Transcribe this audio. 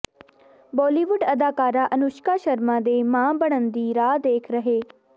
ਬਾਲੀਵੁੱਡ ਅਦਾਕਾਰਾ ਅਨੁਸ਼ਕਾ ਸ਼ਰਮਾ ਦੇ ਮਾਂ ਬਨਣ ਦੀ ਰਾਹ ਦੇਖ ਰਹੇ